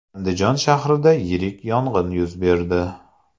Andijon shahrida yirik yong‘in yuz berdi .